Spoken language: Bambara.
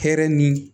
Hɛrɛ ni